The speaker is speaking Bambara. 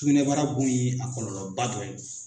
Sugunɛbara bon ye a kɔlɔlɔba dɔ ye.